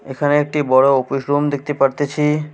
এখানে একটি বড় অফিস রুম দেখতে পারতেছি।